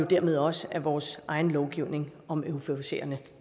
dermed også af vores egen lovgivning om euforiserende